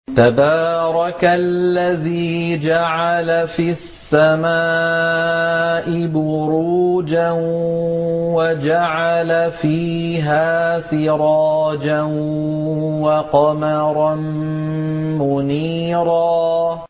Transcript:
تَبَارَكَ الَّذِي جَعَلَ فِي السَّمَاءِ بُرُوجًا وَجَعَلَ فِيهَا سِرَاجًا وَقَمَرًا مُّنِيرًا